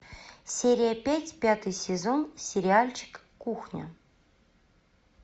серия пять пятый сезон сериальчик кухня